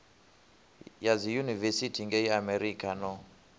ya dziyunivesithi ngei amerika no